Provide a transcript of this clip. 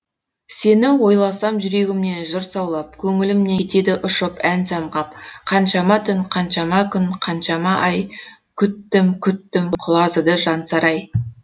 сен ойласам жүрегімнен жыр саулап көңілімнен кетеді ұшып ән самғап қаншама түн қаншама күн қаншама ай күттім күттім құлазыды жансарай